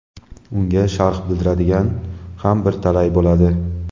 unga sharh bildiradiganlar ham bir talay bo‘ladi.